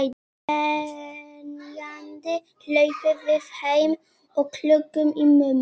Grenjandi hlaupum við heim og klögum í mömmu.